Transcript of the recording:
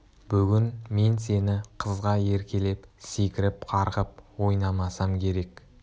бүгін мен сен қызға еркелеп секіріп-қарғып ойнамасам керек